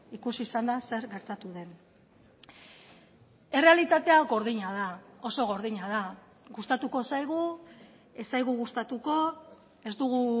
ikusi izan da zer gertatu den errealitatea gordina da oso gordina da gustatuko zaigu ez zaigu gustatuko ez dugu